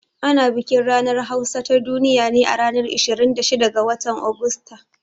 Ana bikin ranar hausa ta duniya ne a ranar 26 ga watan Agusta